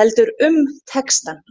heldur um textann.